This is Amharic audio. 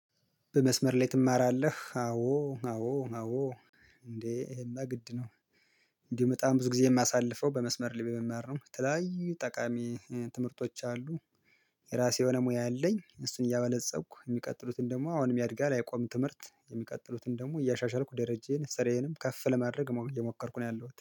በመስመር ላይ ትማራለህ አዎ አዎ አዎ እንዴ ይሄማ ግድ ነው። እንዲሁ በጣም ብዙ ጊዜ የማሳልፈው በመስመር ላይ በመማር ነው የተለላያዩ ጠቃሚ ትምህርቶች አሉ። የራሴ የሆነ ሙያ አለኝ እሱን እያበለፀኩ የሚቀጥሉትን ደግሞ አሁንም ያድጋል አይቆምም። ትምህርት የሚቀጥሉትን ደግሞ እያሻሻልኩ ደረጃዬን ስርዬንም ከፍ ለማድረግ እየሞከርኩ ነው ያለው